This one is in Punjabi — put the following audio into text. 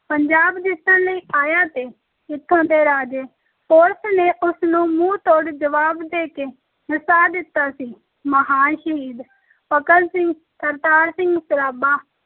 ਪੰਜਾਬ ਜਿੱਤਣ ਲਈ ਆਇਆ ਤੇ ਇੱਥੋਂ ਦੇ ਰਾਜੇ ਪੋਰਸ ਨੇ ਉਸ ਨੂੰ ਮੂੰਹ ਤੋੜ ਜਵਾਬ ਦੇ ਕੇ ਨਸਾ ਦਿੱਤਾ ਸੀ, ਮਹਾਨ ਸ਼ਹੀਦ ਭਗਤ ਸਿੰਘ, ਕਰਤਾਰ ਸਿੰਘ ਸਰਾਭਾ,